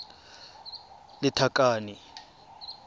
lethakane